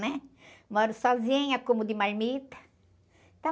né? Moro sozinha como de marmita.